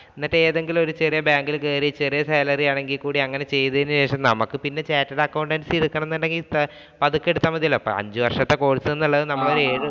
എന്നിട്ട് ഏതെങ്കിലും ഒരു bank ഇല്‍ കയറി ചെറിയ salary ആണെങ്കിൽ കൂടിയും അങ്ങനെ ചെയ്തതിനു ശേഷം നമുക്ക് പിന്നെ chartered accountancy എടുക്കണമെന്നുണ്ടെങ്കില്‍ പതുക്കെ എടുത്താ മതിയല്ലോ. അപ്പൊ അഞ്ചു വര്‍ഷത്തെ course എന്നുള്ളത് നമ്മളൊരു ഏഴ്